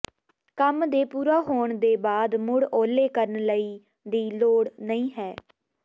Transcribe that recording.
ਕੰਮ ਦੇ ਪੂਰਾ ਹੋਣ ਦੇ ਬਾਅਦ ਮੁੜ ਓਹਲੇ ਕਰਨ ਲਈ ਦੀ ਲੋੜ ਨਹੀ ਹੈ